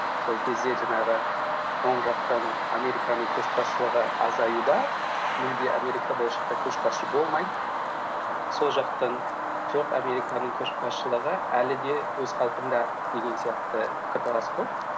сол кезде жаңағы оң жақтан американың көшбасшылығы азаюда мүлде америка болашақта көшбасшы болмайды сол жақтан жоқ американың көшбаслығы әлі де өз қалпында деген сияқты пікірталас болды